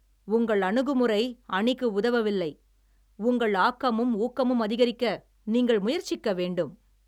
உங்கள் அணுகுமுறை அணிக்கு உதவவில்லை. உங்கள் ஆக்கமும், ஊக்கமும் அதிகரிக்க நீங்கள் முயற்சிக்க வேண்டும்